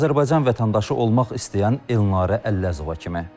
Azərbaycan vətəndaşı olmaq istəyən Elnarə Əlləzova kimi.